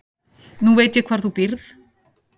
Nú veit ég hvar þú býrð.